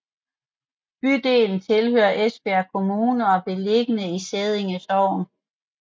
Bydelen tilhører Esbjerg Kommune og er beliggende i Sædden Sogn